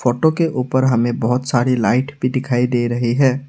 Photo के ऊपर हमें बहुत सारी लाइट भी दिखाई दे रही है।